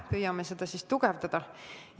Püüame seda siis tugevdada!